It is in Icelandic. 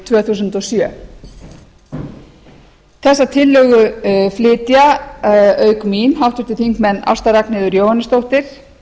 tvö þúsund og sjö þessa tillögu flytja auk mín háttvirtir þingmenn ásta r jóhannesdóttir